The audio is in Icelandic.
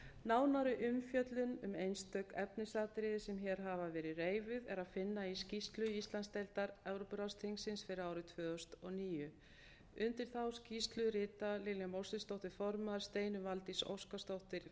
nánari umfjöllun um einstök efnisatriði sem hér hafa verið reifuð er að finna í skýrslu íslandsdeildar evrópuráðsþingsins fyrir árið tvö þúsund og níu undir þá skýrslu rita lilja mósesdóttir form steinunn valdís óskarsdóttir